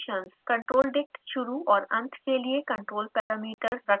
controldict शुरू/ और अंत के लिए control parameters रखता है